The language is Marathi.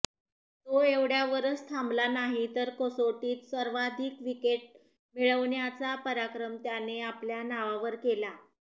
तो एवढ्यावरच थांबला नाही तर कसोटीत सर्वाधिक विकेट मिळवण्याचा पराक्रम त्याने आपल्या नावावर केला